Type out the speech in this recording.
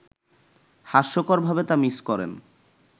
হাস্যকরভাবে তা মিস করেন